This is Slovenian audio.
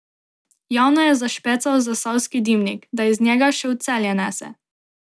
Javno je zašpecal zasavski dimnik, da iz njega še v Celje nese.